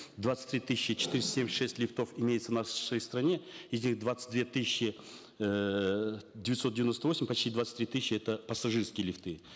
двадцать три тысячи четыреста семьдесят шесть лифтов имеется в нашей стране из них двадцать две тысячи эээ девятьсот девяносто восемь почти двадцать три тысячи это пассажирские лифты